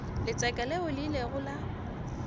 letseka leo le ilego la